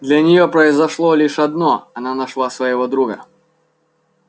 для нее произошло лишь одно она нашла своего друга